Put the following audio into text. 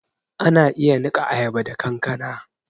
Ana iya niƙa ayaba da kankana